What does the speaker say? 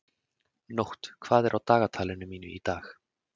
Nótt, hvað er á dagatalinu mínu í dag?